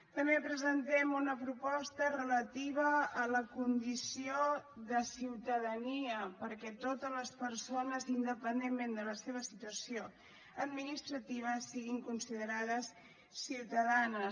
també presentem una proposta relativa a la condició de ciutadania perquè totes les persones independentment de la seva situació administrativa siguin considerades ciutadanes